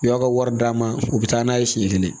U y'aw ka wari d'a ma u bɛ taa n'a ye siɲɛ kelen